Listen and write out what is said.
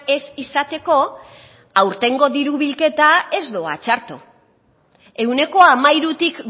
ez izateko aurtengo diru bilketa ez doa txarto ehuneko hamairutik